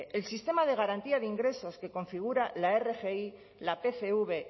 el sistema de garantía de ingresos que configura la rgi la pcv